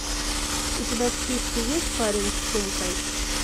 у тебя в списке есть парень с сумкой